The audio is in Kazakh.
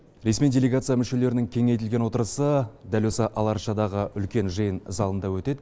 ресми делегация мүшелерінің кеңейтілген отырысы дәл осы ала арчадағы үлкен жиын залында өтеді